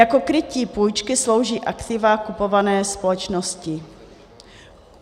Jako krytí půjčky slouží aktiva kupované společnosti.